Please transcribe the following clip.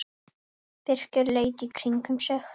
Birkir leit í kringum sig.